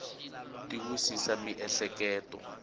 ti wisisa miehleketo